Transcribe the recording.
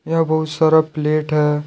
यह बहुत सारा प्लेट है।